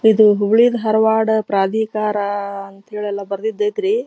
ಇದು ಹುಬ್ಬಳ್ಳಿ ಧಾರ್ವಾಡ್ ಪ್ರಾಧಿಕಾರ ಅಂತ ಹೇಳಿ ಎಲ್ಲಾ ಬರ್ದಿದ್ದೈತ್ರಿ.